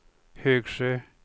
Högsjö